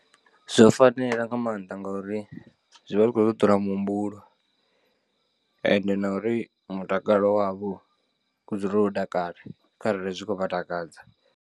Zwo fanela nga maanḓa ngori zwi vha zwi khou ṱuṱula muhumbulo, ende na uri mutakalo wavho u dzule wo takala kharali zwi khou vha takadza.